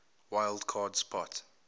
wild card spot